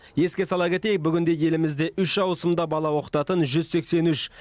еске сала кетейік бүгінде елімізде үш ауысымда бала оқытатын жүз сексен үш